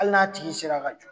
Hali n'a tigi sera ka jɔ